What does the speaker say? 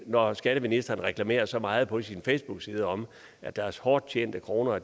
når skatteministeren reklamerer så meget på sin facebookside om at deres hårdt tjente kroner er